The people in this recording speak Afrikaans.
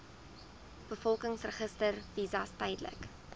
bevolkingsregister visas tydelike